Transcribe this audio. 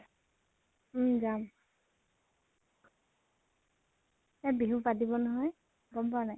উম যাম। তাত বিহু পাতিব নহয়। গম পোৱা নাই?